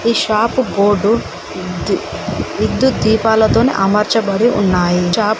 ఈ shop board ది విద్యుత్ దీపాలతోని అమర్చబడి ఉన్నాయి చా--